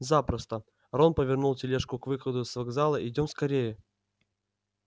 запросто рон повернул тележку к выходу с вокзала идём скорее